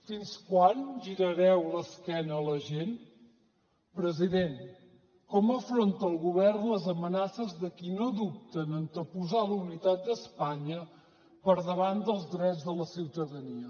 fins quan girareu l’esquena a la gent president com afronta el govern les amenaces dels qui no dubten a anteposar la unitat d’espanya per davant dels drets de la ciutadania